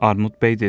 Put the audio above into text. Armud bəy dedi: